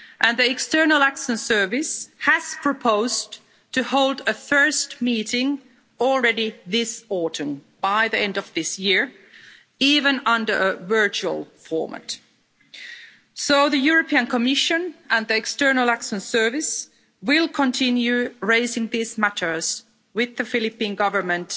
The External Action Service has proposed to hold a first meeting already this autumn by the end of this year even under a virtual format. So the European Commission and the External Action Service will continue raising these matters with the Philippine Government